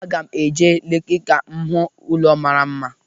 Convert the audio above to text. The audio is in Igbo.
Aga m eje Leki ka m hụ ụnọ mara mma.